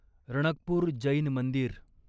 रणकपूर जैन मंदिर